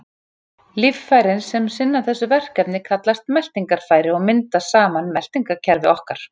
Líffærin sem sinna þessu verkefni kallast meltingarfæri og mynda saman meltingarkerfi okkar.